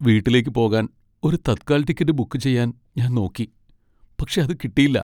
വീട്ടിലേക്ക് പോകാൻ ഒരു തത്കാൽ ടിക്കറ്റ് ബുക്ക് ചെയ്യാൻ ഞാൻ നോക്കി, പക്ഷെ അത് കിട്ടീല്ല.